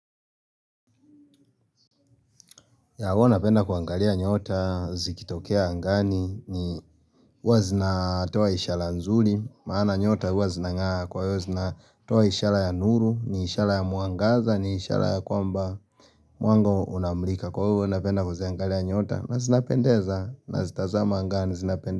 Ya huwa napenda kuangalia nyota, zikitokea angani, ni huwa zinatoa ishara nzuri, maana nyota huwa zinang'aa kwa hivyo zinatoa ishara ya nuru, ni ishara ya mwangaza, ni ishara ya kwamba mwanga unaomrika kwa huwa napenda kuziangalia nyota na zinapendeza, nazitazama angani zinapendeza.